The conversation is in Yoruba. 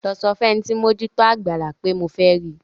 Lọ sọ fún ẹni tí ó ń mójú tó àgbàlá pé mo fẹ́ rí i.